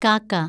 കാക്ക